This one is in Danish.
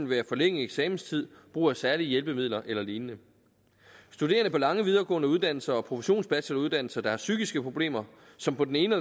være forlænget eksamenstid brug af særlige hjælpemidler eller lignende studerende på lange videregående uddannelser og professionsbacheloruddannelser der har psykiske problemer som på den ene